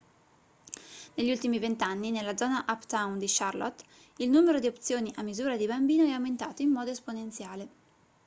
negli ultimi 20 anni nella zona uptown di charlotte il numero di opzioni a misura di bambino è aumentato in modo esponenziale